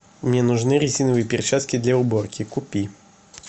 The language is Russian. мне нужны резиновые перчатки для уборки купи